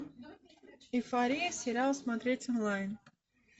эйфория сериал смотреть онлайн